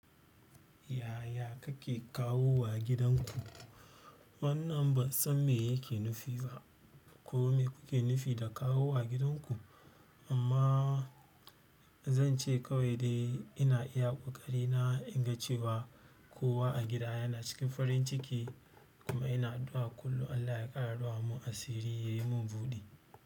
Yaya kake kawowa gidanku? Wannan ba san me yake nufi ba ko me kuke nufi da kawowa gidanku, amma zan ce kawai dai ina iya ƙoƙari na in ga cewa kowa a gida yana cikin farin ciki kuma ina addu'a kullum Allah ya ƙara rufa mu asiri, ya yi mun buɗi.